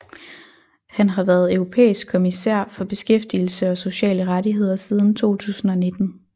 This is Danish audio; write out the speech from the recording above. Han har været europæisk kommissær for beskæftigelse og sociale rettigheder siden 2019